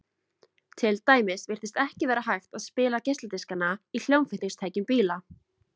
til dæmis virtist ekki vera hægt að spila geisladiskana í hljómflutningstækjum bíla